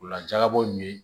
Ola jakabo ye